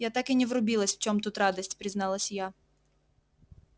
я так и не врубилась в чем тут радость призналась я